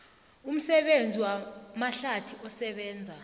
umsebenzi wamahlathi osebenza